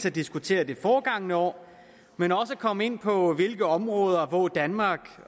at diskutere det forgangne år men også komme ind på hvilke områder danmark